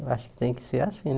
Eu acho que tem que ser assim.